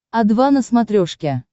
о два на смотрешке